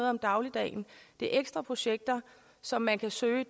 om dagligdagen det er ekstra projekter som man kan søge